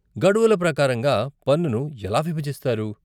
గడువుల ప్రకారంగా పన్నును ఎలా విభజిస్తారు?